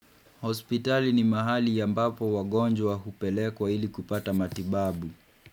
Hospitali ni mahali ya ambapo wagonjwa hupelekwa ili kupata matibabu.